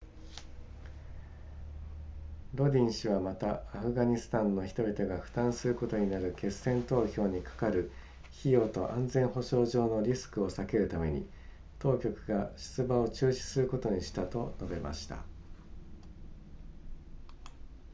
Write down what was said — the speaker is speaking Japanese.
ロディン氏はまたアフガニスタンの人々が負担することになる決選投票にかかる費用と安全保障上のリスクを避けるために当局が出馬を中止することにしたと述べました